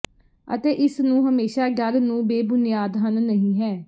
ਅਤੇ ਇਸ ਨੂੰ ਹਮੇਸ਼ਾ ਡਰ ਨੂੰ ਬੇਬੁਨਿਆਦ ਹਨ ਨਹੀ ਹੈ